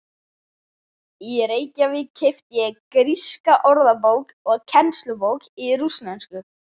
Í Reykjavík keypti ég gríska orðabók og kennslubók í rússnesku.